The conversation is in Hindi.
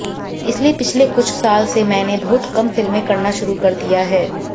इसलिए पिछले कुछ साल से मैंने बहुत कम फिल्में करना शुरू कर दिया है